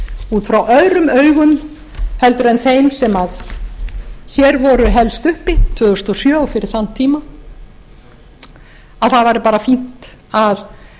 út frá öðrum augum heldur en þeim sem hér voru helst uppi tvö þúsund og sjö og fyrir þann tíma að það væri bara fínt að